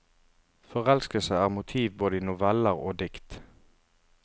Forelskelse er motiv både i noveller og dikt.